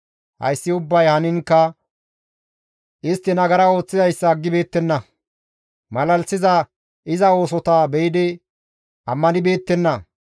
Hayssi ubbay haniinkka istti nagara ooththizayssa aggibeettenna; malalisiza iza oosotakka be7idi ammanibeettenna.